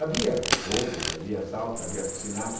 Havia roubos, havia assaltos, havia assassinatos.